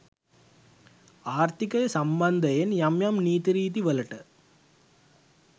ආර්ථිකය සම්බන්ධයෙන් යම් යම් නීති රීතිවලට